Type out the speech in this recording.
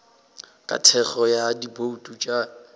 ka thekgo ya dibouto tša